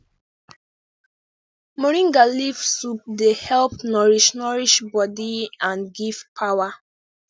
moringa leaf soup dey help nourish nourish body and give power